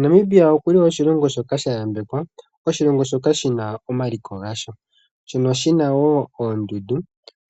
Namibia okuli wo oshilongo shoka sha yambekwa oshilongo shoka shi na omaliko gasho shono shi na wo oondundu.